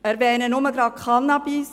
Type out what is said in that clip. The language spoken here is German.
Ich erwähne nur Cannabis.